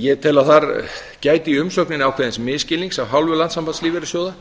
ég tel að þar gæti í umsögninni ákveðins misskilnings af hálfu landssambands lífeyrissjóða